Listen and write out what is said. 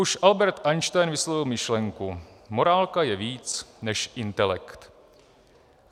Už Albert Einstein vyslovil myšlenku: Morálka je víc než intelekt.